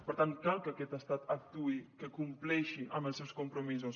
per tant cal que aquest estat actuï que compleixi amb els seus compromisos